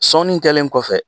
Sɔni kɛlen kɔfɛ.